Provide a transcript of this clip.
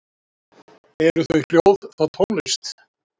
Talsvert er varðveitt af kveðskap Sighvats.